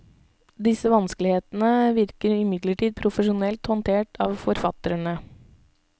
Disse vanskelighetene virker imidlertid profesjonelt håndtert av forfatterne.